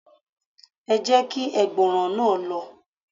Ẹ jẹ́ kí ẹgbọrọ̀n náà lọ